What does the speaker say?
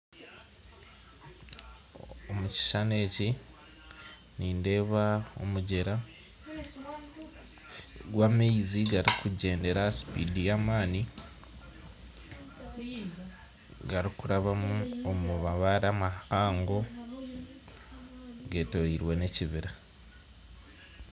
Omu kishushani eki nindeeba omugyera gw'amaizi garikugyendera aha sipindi y'amaani garikuraba omu mabare mahango geetoroirwe n'ekibira